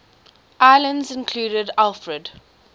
islands included alfred